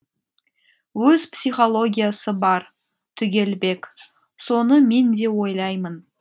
өз психологиясы бар түгелбек соны мен де ойлаймын